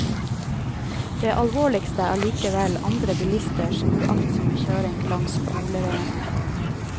Det alvorligste er allikevel andre bilisters uaktsomme kjøring langs skoleveiene.